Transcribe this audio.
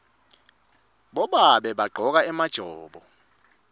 bobabe bagcoka emajobo